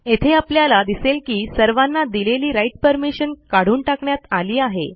येथे आपल्याला दिसेल की सर्वांना दिलेली राइट परमिशन काढून टाकण्यात आली आहे